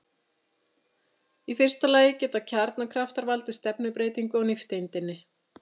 Í fyrsta lagi geta kjarnakraftar valdið stefnubreytingu á nifteindinni.